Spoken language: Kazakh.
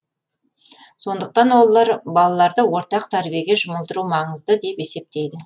сондықтан олар балаларды ортақ тәрбиеге жұмылдыру маңызды деп есептейді